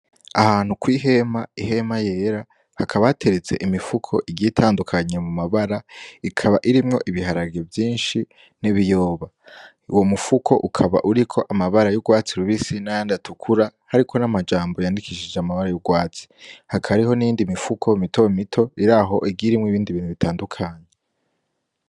Ahantu kw'ihema ihema yera hakabateretse imifuko igitandukanye mu mabara ikaba irimwo ibiharage vyinshi n'ibiyoba, wo mufuko ukaba uriko amabara y'urwatsi rubisina yandi atukura hariko n'amajambo yandikishije amabara y'urwatsi hakariho nindi mifuko mito mito iri aho igirimwo ibindi nu bitandukanyi.